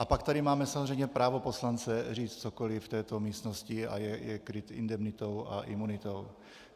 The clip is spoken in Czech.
A pak tady máme samozřejmě právo poslance říct cokoliv v této místnosti a je kryt indemnitou a imunitou.